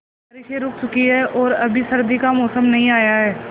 अब बारिशें रुक चुकी हैं और अभी सर्दी का मौसम नहीं आया है